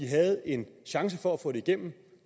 havde en chance for at få det igennem